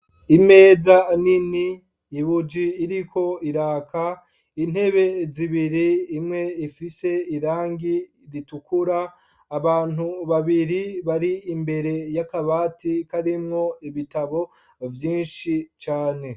Imeza nini ibuji iriko iraka intebe zibiri imwe ifise irangi ritukura, abantu babiri bari imbere y'akabati, karimwo ibitabo vyinshi cane.